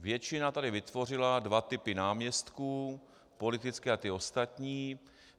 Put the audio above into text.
Většina tady vytvořila dva typy náměstků, politické a ty ostatní.